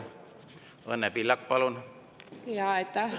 Õnne Pillak, palun!